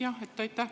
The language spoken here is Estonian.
Aitäh!